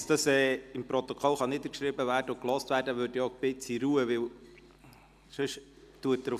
Damit diese im Protokoll niedergeschrieben und gehört werden können, möchte ich um eine gewisse Ruhe bitten.